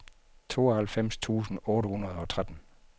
tooghalvfems tusind otte hundrede og tretten